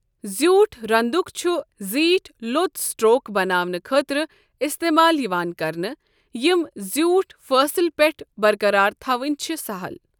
زیوٗٹھ رنٛدُک چھُ زیٖٹھۍ، لوٚت سٹروک بناونہٕ خٲطرٕ استعمال یِوان کرنہٕ، یِم زیوٗٹھ فٲصل پٮ۪ٹھ برقرار تھاوٕنۍ چھِ سہَل۔